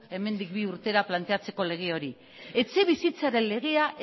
hemendik bi urtera planteatzeko lege hori etxebizitzaren legea